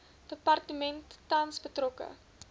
departement tans betrokke